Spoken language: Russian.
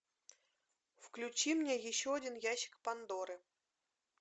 включи мне еще один ящик пандоры